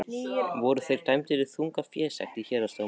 Voru þeir dæmdir í þunga fésekt í héraðsdómi.